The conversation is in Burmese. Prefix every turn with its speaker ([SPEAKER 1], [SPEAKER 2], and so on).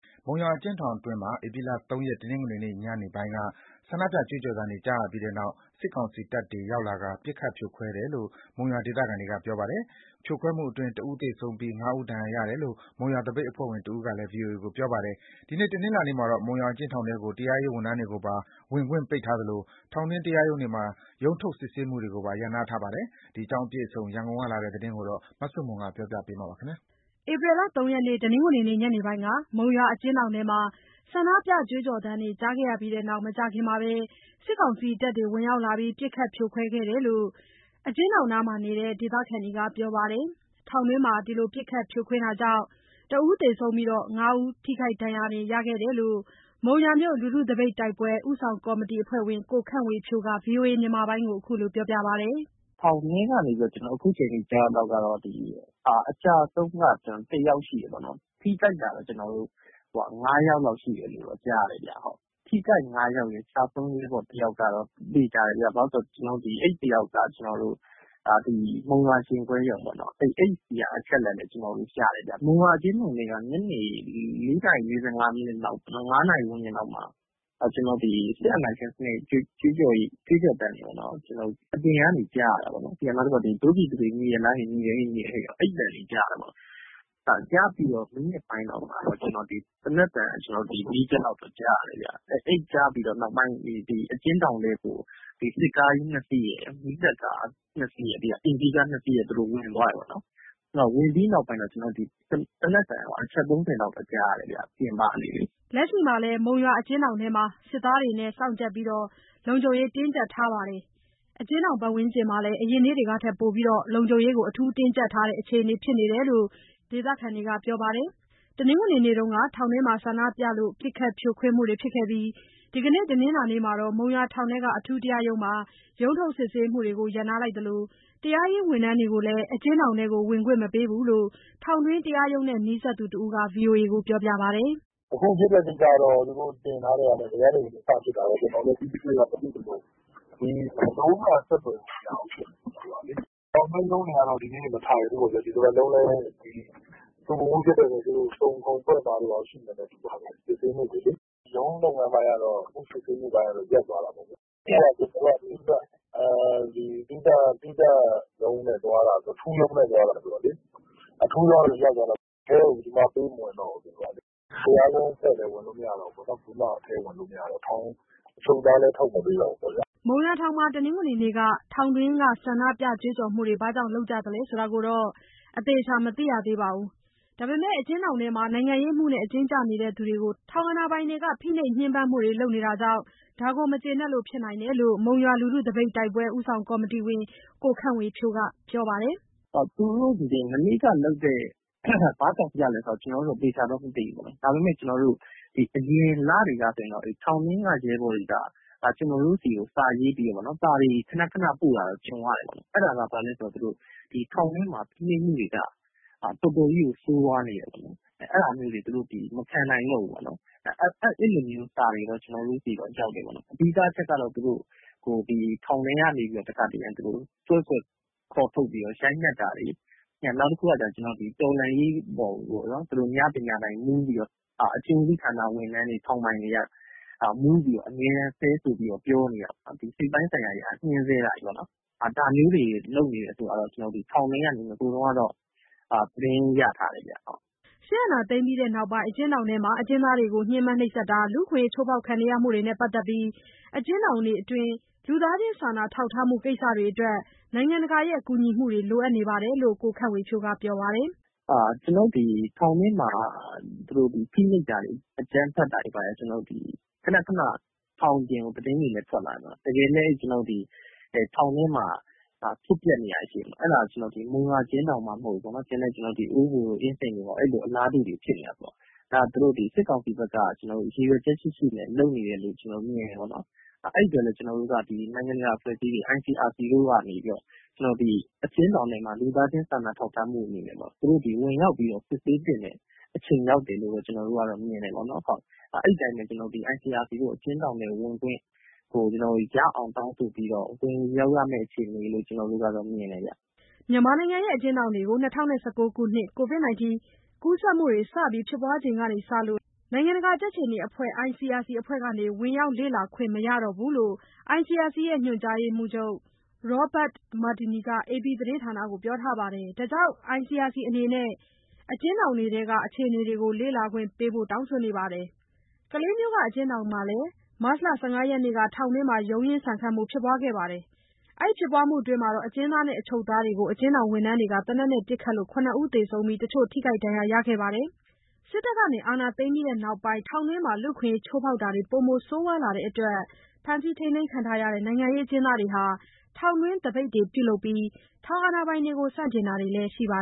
[SPEAKER 1] မုံရွာအကျဉ်းထောင်အတွင်းမှာ ဧပြီ ၃ ရက် တနင်္ဂနွေနေ့ ညနေပိုင်းက ဆန္ဒပြကြွေးကြော်သံတွေ ကြားရပြီးနောက် စစ်ကောင်စီတပ်တွေ ရောက်လာကာ ပစ်ခတ်ဖြိုခွဲတယ်လို့ မုံရွာဒေသခံတွေက ပြောပါတယ်။ ဖြိုခွဲမှုအတွင်း ၁ ဦးသေဆုံးပြီး ၅ ဦး ဒဏ်ရာရခဲ့တယ်လို့ မုံရွာမြို့ သပိတ်အဖွဲ့ဝင်တဦးက ဗွီအိုအေကို ပြောပါတယ်။ ဒီနေ့ တနင်္လာနေ့မှာတော့ မုံရွာအကျဉ်းထောင်ထဲကို တရားရေးဝန်ထမ်းတွေကိုပါ ဝင်ခွင့်ပိတ်ထားသလို ထောင်တွင်းတရားရုံးတွေမှာ ရုံးထုတ်စစ်ဆေးမှုတွေကိုပါ ရပ်နားထားပါတယ်။ ဒီအကြောင်းအပြည့်အစုံ ရန်ကုန်ကလာတဲ့သတင်းကို မဆုမွန်က တင်ပြပေးထားပါတယ်။
[SPEAKER 2] ဧပြီလ ၃ ရက် တနင်္ဂနွေနေ့ညနေပိုင်းက မုံရွာအကျဉ်းထောင်တွင်းကနေ ဆန္ဒပြကြွေးကြော်သံတွေ ကြားရပြီးနောက် မကြာခင်မှာပဲ စစ်ကောင်စီတပ်တွေ ရောက်လာပြီးပစ်ခတ်ဖြိုခွဲတယ်လို့ အကျဉ်းထောင်နားမှာရှိနေတဲ့ ဒေသခံတွေက ပြောကြပါတယ်။ တောင်တွင်းမှာ ပစ်ခတ်ဖြိုခွင်းမှုတွေကြောင့် ၁ ယောက်သေဆုံးပြီး ၅ ယောက် ထိခိုက်ဒဏ်ရာ ရခဲ့ကြတယ်လို့ မုံရွာမြို့လူထုသပိတ်တိုက်ပွဲ ဦးဆောင်ကော်မတီအဖွဲ့ဝင် ကိုခန့်ဝေဖြိုးက VOA ကို ခုလိုပြောပါတယ်။
[SPEAKER 1] “ထောင်တွင်းကနေပြီး အခုအချိန်ထိ ကျနော် ကြားရသလောက် အကျအဆုံးက ၁ ယောက်ရှိတယ်ပေါ့နှော်။ ထိခိုက်တာက ၅ ယောက်လောက် ရှိတယ်လို့တော့ ကြားတယ်ဗျ။ ထိခိုက် ၅ ယောက်ရယ်၊ ကျဆုံးရဲဘော် တယောက်ရယ်ကတော့ သေချာတယ်ဗျ။ ဘာလို့ဆို အဲဒီတယောက်က ကျနော်တို့ မုံရွာရင်ခွဲရုံပေါ့နော်။ အဲ့ဆီက အချက်အလက်လည်း ကျနော်တို့ ရတယ်ဗျ။ မုံရွာအကျဉ်းထောင်ထဲက ညနေ ၄ နာရီ ၄၅၊ ၅ နာရီဝန်းကျင်လောက်မှာ ဒီစစ်အာဏာရှင်စနစ်ဆန့်ကျင်ရေး ကြွေးကြော်သံတွေပေါ့နော်- အပြင်ကနေ ကြားရတာပေါ့နော်။ ပြီးတော့ “ဒို့ပြည်သူတွေ ညီရဲ့လားဟေ့..၊ ညီတယ်ဟေ့ ညီတယ်ဟေ့” ပေါ့။ အဲ့လိုအသံတွေ ကြားရတာပေါ့။ အဲ့လိုကြားပြီးမိနစ်ပိုင်းလောက်မှာ သေနတ်သံ ၄ ချက်လောက် ကြားရတယ်ဗျ။ အဲ့လိုကြားပြီးနောက်ပိုင်း အကျဉ်းထောင်ထဲကို စစ်ကားကြီး ၂ စီးရယ်၊ မီးသတ်ကား ၂ စီးရယ် ပြီးတော့ အိမ်စီးကား ၂ စီးရယ် ဝင်သွားတယ်ပေါ့နော်။ သူတို့ ဝင်သွားပြီးနောက်ပိုင်း သေနတ်သံ အချက် ၃၀ လောက် ကြားရတယ်ဗျ၊ ကျန
[SPEAKER 2] ော်တို့ ပြင်ပကနေလေ။” လက်ရှိမှာလည်း မုံရွာအကျဉ်းထောင်အတွင်းမှာ စစ်သားတွေနဲ့ စောင့်ကြပ်ပြီး လုံခြုံရေးတင်းကြပ်ထားသလို အကျဉ်းထောင်ပတ်ဝန်းကျင်မှာလည်း အရင်နေ့တွေထက်ပိုပြီး လုံခြုံရေး အထူးတင်းကြပ်ထားတယ်လို့ ဒေသခံတွေက ပြောပြပါတယ်။ တနင်္ဂနွေနေ့က ထောင်တွင်းမှာ ဆန္ဒပြမှုတွေ ပစ်ခတ်ဖြိုခွင်းမှုတွေ ဖြစ်ခဲ့ပြီး ဒီနေ့ တနင်္လာနေ့မှာတော့ မုံရွာထောင်ထဲက အထူးတရားရုံးမှာ ရုံးထုတ်စစ်ဆေးတာတွေကို ရပ်နားထားသလို တရားရေးဝန်ထမ်းတွေကိုလည်း အကျဉ်းထောင်ထဲ ဝင်ခွင့် မပေးဘူးလို့ ထောင်တွင်းတရားရုံးနဲ့ နီးစပ်သူတစ်ဦးက VOA ကိုပြောပါတယ်။
[SPEAKER 1] “ဘယ်ကနေ ဘယ်လိုစဖြစ်သလဲ တိတိကျကျတော့ ကျနော်တို့လည်း မသိဘူး။ အတွင်းနဲ့က လုံးဝအဆက်အသွယ် မရဘူးဖြစ်နေတယ်။ ထောင်တွင်းရုံးတွေကတော့ ဒီနေ့မထိုင်ဘူးပေါ့ဗျာ။ ဒီတစ်ပတ်လုံးလည်း ဆူပူမှုဖြစ်ထားတဲ့အတွက် စုံခုံဖွဲ့မှာတို့၊ ဘာတို့ ရှိမယ်ထင်တယ်။ ဒီတရက်နှစ်ရက်အတွင်းလေ။ ရုံးလုပ်ငန်းပိုင်း အမှုစစ်ဆေးမှုအပိုင်းကတော့ ရပ်သွားတာပေါ့ဗျာ။ ပြီးတော့ ကျနော်တို့က သီးသန့်အထူးရုံးနဲ့သွားတာဆိုတော့လေ။ အထူးရုံးကတော့ ရပ်သွားတာပေါ့။အထဲကို ဘယ်သူ့မှပေးမဝင်တော့ဘူး အခုကလေ။ တရားရုံးအဖွဲ့လည်း ဝင်လို့မရတော့ဘူး။ ဘယ်သူမှ ဝင်လို့မရတော့တာပေါ့။ ထောင်ထဲက အချုပ်သားလည်း ထုတ်မပေးဘူးပေါ့ဗျာ။
[SPEAKER 2] ” မုံရွာထောင်မှာ တနင်္ဂနွေနေ့က ထောင်တွင်းကဆန္ဒပြကြွေးကြော်မှုတွေ ဘာကြောင့်လုပ်ကြသလဲဆိုတာ သေချာမသိရသေးပါဘူး။ ဒါပေမဲ့ အကျဉ်းထောင်ထဲမှာ နိုင်ငံရေးအမှုနဲ့ အကျဉ်းကျနေသူတွေအပေါ် ထောင်အာဏာပိုင်တွေက ဖိနှိပ် ညှင်းပန်းနေတာကြောင့် ဒါကို မကျေနပ်လို့ ဖြစ်နိုင်တယ်လို့ မုံရွာလူထုသပိတ်တိုက်ပွဲ ဦးဆောင်ကော်မတီဝင် ကိုခန့်ဝေဖြိုးက ပြောပါတယ်။ “သူ
[SPEAKER 1] တို့တွေ မနေ့က ဘာကြောင့်ပြလဲတော့ မသိဘူးပေါ့နှော်။ ဒါပေမယ့် အရင်လတွေကဆိုရင်တော့ ထောင်တွင်းက ရဲဘော်တွေက ကျနော်တို့ဆီကို စာတွေ ခဏခဏပို့တာတော့ ကြုံရတယ်ပေါ့လေ။ အဲ့ဒီစာထဲမှာ ထောင်ထဲမှာ ဖိနှိပ်မှုတွေက တော်တော်ကြီးကို ဆိုးဝါးနေတယ်ပေါ့နော်။ အဲ့ဒါမျိုးတွေကို မခံနိုင်တော့ဘူးပေါ့နော်။ အဲ့လိုစာတွေ ကျနော်တို့ဆီတော့ ရောက်တယ်။ အဓိကက သူတို့ကို ထောင်ထဲကနေ ဆွဲခေါ်ထုတ်ပြီးတော့ ရိုက်နှက် တာတွေ၊ နောက်တခုက တော်လှန်ရေးအပေါ်ကို အကျဉ်းဦးစီးဝန်ထမ်းတွေ ထောင်ပိုင်တွေက မူးပြီးတော့ အမြဲတမ်း ဆဲဆိုပြီးတော့ ပြောနေတာပေါ့နှော်။ စိတ်ပိုင်းဆိုင်ရာအရ ညှင်းဆဲတာတွေပေါ့ နှော်။ ဒါမျိုးတွေ လုပ်နေတာကို ထောင်ထဲကနေ သတင်းရထားတယ်ဗျ။
[SPEAKER 2] ” စစ်အာဏာသိမ်းပြီးနောက်ပိုင်း အကျဉ်းထောင်တွေမှာ အကျဉ်းသားတွေကို ညှင်းပန်းတာတွေ၊ လူအခွင့်အရေး ချိုးဖောက်ခံနေရမှုတွေနဲ့ ပတ်သက်ပြီး အကျဉ်းထောင်အတွင်း လူသားချင်းစာနာထောက်ထားမှု ကိစ္စတွေအတွက် နိုင်ငံတကာက ကူညီမှုတွေ လိုအပ်နေတယ်လို့ ကိုခန့်ဝေဖြိုးက ပြောပါတယ်။
[SPEAKER 1] “ထောင်ထဲမှာ ဖိနှိပ်တာတွေ အကြမ်းဖက်တာတွေက ထောင်ပြင်ကို ခဏခဏ သတင်းတွေလည်း ထွက်လာတယ်ပေါ့နော်။ တကယ်လည်း ထောင်ထဲမှာ ဖြစ်ပျက်နေတာတွေ ရှိတယ်ပေါ့။ အဲ့ဒါတွေက မုံရွာအကျဉ်းထောင်မှမဟုတ်ဘူး၊ တခြား အင်းစိန်တို့ အိုးဘိုတို့မှာလည်း အလားတူ အခြေအနေတွေ ဖြစ်နေတာဆိုတော့ ဒါက စစ်ကောင်စီဖက်က ရည်ရွယ်ချက်ရှိရှိနဲ့ လုပ်နေတယ်လို့ မြင်တယ်ပေါ့နှော်။ အဲ့ဒီအတွက်လည်း ကျနော်တို့က နိုင်ငံတကာအဖွဲ့အစည်းတွေ ICRC တို့က နေပြီးတော့ အကျဉ်းထောင်ထဲမှာ လူသားချင်း စာနာထောက်ထားမှုအနေနဲ့ပေါ့ သူတို့ဝင်ရောက်ပြီး စစ်ဆေးသင့်တယ်။ ICRC တို့ အကျဉ်းထောင်ထဲကို ဝင်ခွင့်ရဖို့ကို ဝင်လုပ်ရမယ့် အခြေအနေလို့ မြင်တယ်ဗျ။
[SPEAKER 2] ” မြန်မာနိုင်ငံရဲ့အကျဉ်းထောင်တွေကို ၂၀၁၉ ခုနှစ် ကိုဗစ် ကူးစက်မှုတွေ စတင်ဖြစ်ပွားခဲ့ချိန်ကစလို့ နိုင်ငံတကာ ကြက်ခြေနီအဖွဲ့ ICRC အဖွဲ့က ဝင်ရောက် လေ့လာခွင့်မရတော့ဘူးလို့ ICRC ရဲ့ ညွှန်ကြားရေးမှူးချုပ် Roert Mardini က AP သတင်းဌာနကို ပြောထားပါတယ်။ ဒါကြောင့် ICRC အနေနဲ့ အကျဉ်းထောင်တွေထဲက အခြေအနေတွေကို လေ့လာခွင့်ပေးဖို့ တောင်းဆိုနေပါတယ်။ ကလေးမြို့က အကျဉ်းထောင်မှာလည်း မတ်လ ၁၅ ရက်နေ့က ထောင်တွင်း ရုံးရင်းဆန်ခတ် ဖြစ်ခဲ့ပြီး အကျဉ်းသားနဲ့ အချုပ်သားတွေကို အကျဉ်းထောင်ဝန်ထမ်းတွေက သေနတ်နဲ့ ပစ်ခတ်ခဲ့လို့ ၇ ဦးသေဆုံးပြီး တချို့ ထိခိုက်ဒဏ်ရာရခဲ့ပါတယ်။ စစ်တပ်က အာဏာသိမ်းပြီးနောက်ပိုင်း ထောင်တွင်းမှာ လူ့အခွင့်ရေးချိုးဖောက်တာတွေ ပိုမိုဆိုးရွားလာတဲ့အတွက် ဖမ်းဆီးခံရတာတဲ့ နိုင်ငံရေးအကျဉ်းသားတွေဟာ ထောင်တွင်းသပိတ်တွေပြုလုပ်ပြီး ထောင်အာဏာပိုင်တွေကို ဆန့်ကျင်တာတွေလည်းရှိပါ